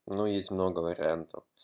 но есть много вариантов